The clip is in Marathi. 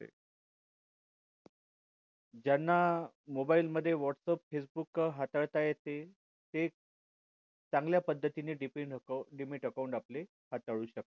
ज्यांना mobile मध्ये whats aap facebook हाताळता येते ते चांगल्या पद्धतीने dmat account dmat account आपले हाताळू शकतात